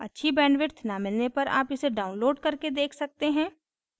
अच्छी bandwidth न मिलने पर आप इसे download करके देख सकते हैं